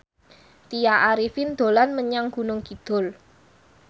Tya Arifin dolan menyang Gunung Kidul